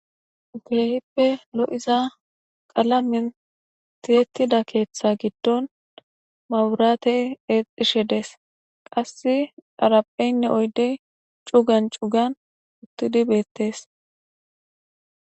Kehipe lo'za qalamen tiyettida keththa gidon maburatey exishe des qassi xarapheynne oyde cugan cugan utidi bettes